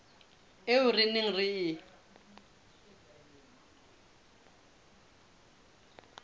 eo re neng re e